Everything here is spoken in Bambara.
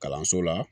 Kalanso la